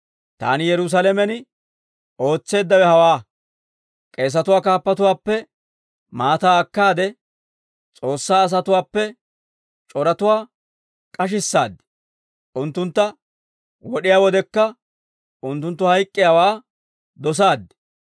Taani Yerusaalamen ootseeddawe hawaa; k'eesatuwaa kaappatuwaappe maataa akkaade, S'oossaa asatuwaappe c'oratuwaa k'ashissaad; unttuntta wod'iyaa wodekka unttunttu hayk'k'iyaawaa dosaad.